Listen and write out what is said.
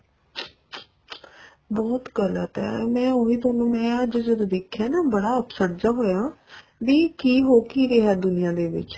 ਬਹੁਤ ਗ਼ਲਤ ਏ ਮੈਂ ਉਹੀ ਤੁਹਾਨੂੰ ਮੈਂ ਅੱਜ ਜਦੋਂ ਦੇਖਿਆ ਨਾ ਬੜਾ upset ਜਾ ਹੋਇਆ ਵੀ ਕੀ ਹੋ ਕੀ ਰਿਹਾ ਦੁਨੀਆਂ ਦੇ ਵਿੱਚ